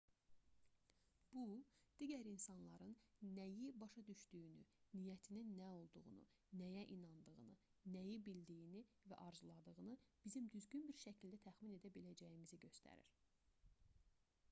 bu digər insanların nəyi başa düşdüyünü niyyətinin nə olduğunu nəyə inandığını nəyi bildiyini və arzuladığını bizim düzgün bir şəkildə təxmin edə biləcəyimizi göstərir